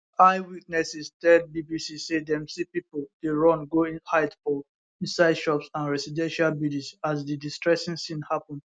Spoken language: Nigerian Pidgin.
eyewitnesses tell bbc say dem see pipo dey run go hide for inside shops and residential buildings as di distressing scene happun